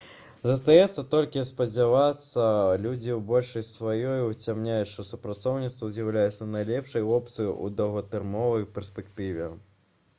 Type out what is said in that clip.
застаецца толькі спадзявацца людзі ў большасці сваёй уцямяць што супрацоўніцтва з'яўляецца найлепшай опцыяй у доўгатэрміновай перспектыве